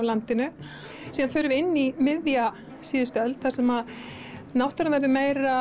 landinu síðan förum við inn í miðja síðustu öld þar sem náttúran verður